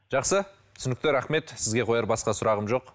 жақсы түсінікті рахмет сізге қояр басқа сұрағым жоқ